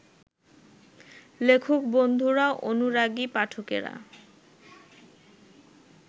লেখক-বন্ধুরা, অনুরাগী পাঠকেরা